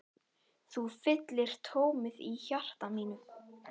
Þú fyllir tómið í hjarta mínu.